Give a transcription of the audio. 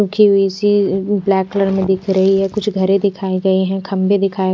मुझे AC black colour में दिख रही हैं। कुछ घरे दिखाए गए हैं खंभे दिखाए--